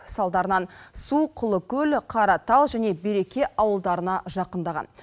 салдарынан су құлыкөл қаратал және береке ауылдарына жақындаған